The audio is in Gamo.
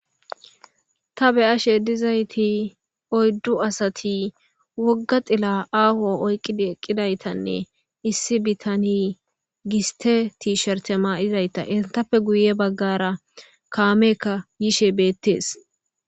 ta be'ashe dizayti oydu asati woga xilla aho oyqidi eqidaytanne issi bitaney giste tisherte ma'izayta etappe guye bagara kameykka yishe betese